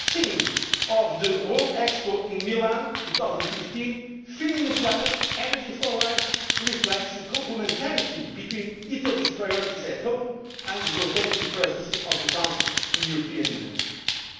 change. The theme of the World Expo in Milan 2015, Feeding the Planet, Energy for Life', reflects the complementarity between Italy's priorities at home and those of its rotating Presidency of the Council of the European